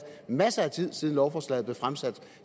masser af tid siden lovforslaget blev fremsat